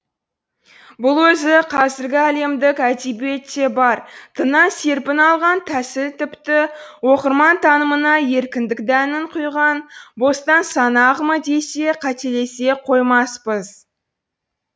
бұл өзі қазіргі әлемдік әдебиетте бар тыңнан серпін алған тәсіл тіпті оқырман танымына еркіндік дәнін құйған бостан сана ағымы десе қателесе қоймаспыз